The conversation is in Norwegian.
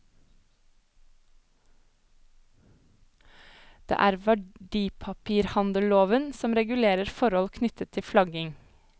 Det er verdipapirhandelloven som regulerer forhold knyttet til flagging.